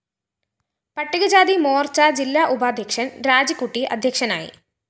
പട്ടികജാതി മോര്‍ച്ച ജില്ലാ ഉപാദ്ധ്യക്ഷന്‍ രാജിക്കുട്ടി അദ്ധ്യക്ഷനായി